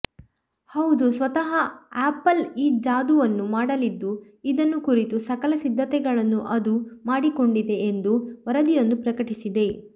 ಹೌದು ಸ್ವತಃ ಆಪಲ್ ಈ ಜಾದೂವನ್ನು ಮಾಡಲಿದ್ದು ಇದನ್ನು ಕುರಿತ ಸಕಲ ಸಿದ್ಧತೆಗಳನ್ನು ಅದು ಮಾಡಿಕೊಂಡಿದೆ ಎಂದು ವರದಿಯೊಂದು ಪ್ರಕಟಿಸಿದೆ